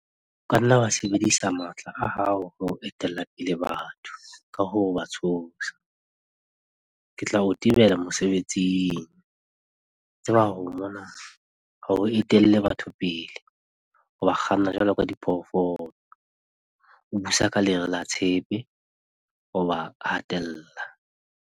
O ka nna wa sebedisa matla a hao ho etella pele batho ka ho ba tshosa - 'Ke tla o tebela mosebetsing' - tseba hore mona ha o etelle batho pele, o ba kganna jwalo ka diphoofolo, o busa ka lere la tshepe, o a ba hatella.